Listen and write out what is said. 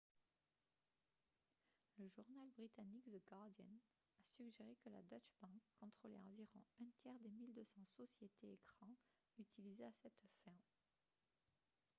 le journal britannique the guardian a suggéré que la deutsche bank contrôlait environ un tiers des 1200 sociétés écrans utilisées à cette fin